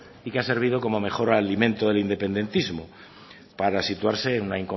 y que ha servido como mejor alimento del independentismo para situarse en una